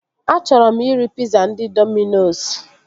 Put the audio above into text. Achọrọ m iri piza ndị Dominos